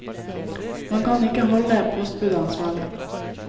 Man kan ikke holde postbudet ansvarlig.